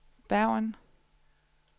Bergen